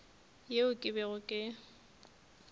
yeo ke bego ke le